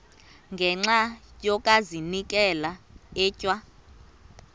ngenxa yokazinikela etywa